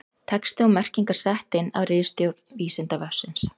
Texti og merkingar sett inn af ritstjórn Vísindavefsins.